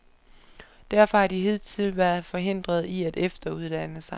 Derfor har de hidtil været forhindret i at efteruddanne sig.